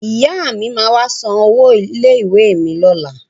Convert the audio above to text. Ìyá mi máa wá san owó ilé-ìwé mi lọ́la.